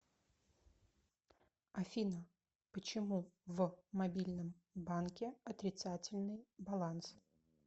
афина почему в мобильном банке отрицательный баланс